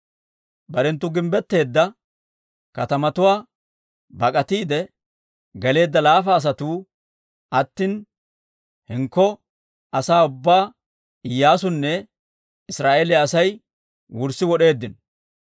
Barenttu gimbbetteedda katamatuwaa bak'atiide geleedda laafa asatuu attina, hinkko asaa ubbaa Iyyaasunne Israa'eeliyaa Asay wurssi wod'eeddino.